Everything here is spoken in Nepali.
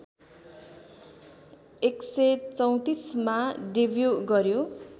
१३४ मा डेब्यु गर्‍यो